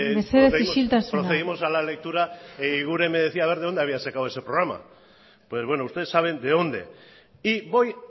mesedez isiltasuna la última vez procedimos a la lectura y eguiguren me decía a ver de dónde había sacado ese programa pues bueno ustedes saben de dónde y voy